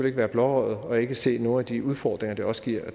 ikke være blåøjet og ikke se nogle af de udfordringer det også giver